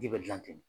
Ji bɛ gilan ten